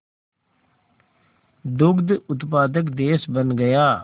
दुग्ध उत्पादक देश बन गया